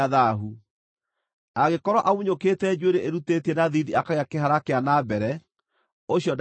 Angĩkorwo amunyũkĩte njuĩrĩ ĩrutĩtie na thiithi akagĩa kĩhara kĩa na mbere, ũcio ndarĩ na thaahu.